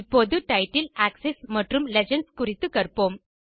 இப்போது title axis மற்றும் legends குறித்து கற்போம்